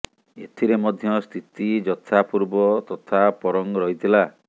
ଏଥିରେ ମଧ୍ୟ ସ୍ଥିତି ଯଥା ପୂର୍ବ ତଥା ପରଂ ରହିଥିଲା